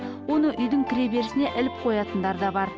оны үйдің кіре берісіне іліп қоятындар да бар